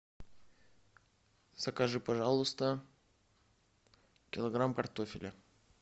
закажи пожалуйста килограмм картофеля